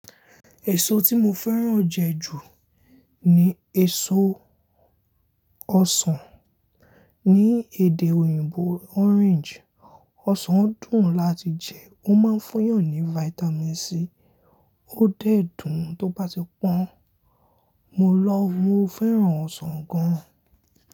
Èso tí mo fẹ́ràn jẹ ju ni èso ọsàn. Ni èdè òyìnbó orange. Ọsàn dùn láti jẹ, ó máa ń fún yàn ni vitamin C, ó dé dùn tó bá ti pọ́n. Mo love, mo fẹ́ràn ọsàn gan.